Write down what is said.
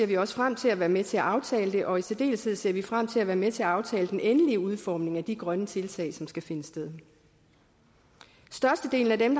vi også frem til at være med til at aftale det og i særdeleshed ser vi frem til at være med til at aftale den endelige udformning af de grønne tiltag som skal finde sted størstedelen af dem